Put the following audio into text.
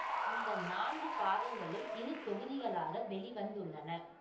இந்த நான்கு பாகங்களும் இரு தொகுதிகளாக வெளி வந்துள்ளன